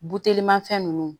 Butelima fɛn ninnu